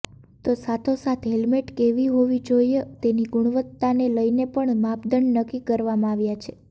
તો સાથોસાથ હેલમેટ કેવી હોવી જોઈએ તેની ગુણવત્તાને લઈને પણ માપદંડ નક્કી કરવામાં આવ્યા છે